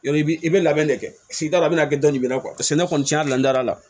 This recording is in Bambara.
Yɔrɔ i bi i bɛ labɛn de kɛ si t'a la a bɛna kɛ dɔni na kuwa sɛnɛ kɔni cɛn yɛrɛ la n dara la